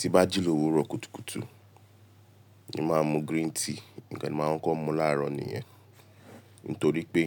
Tí bá jilowó rọ kùtùkùtù, èmi máa ń mu green tea, nǹkan ti mo máa ń kọ́ko mú láàrọ̀ nìyẹn. Nítorí pé